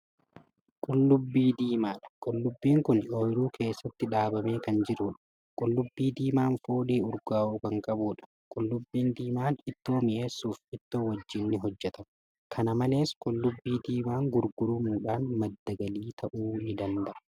Qullubbii diimaadha qullubbiin Kuni ooyruu keessatti dhaabamee Kan jiruudha qullubbii diimaan foolii urgaa'u Kan qabuudha. qullubbiin diimaan ittoo mi'eessuuf ittoo wajjiin ni hojjatama. kan makes qullubbii diimaan gurguramuudhaan maddi galiif ta'uu ni danda'a.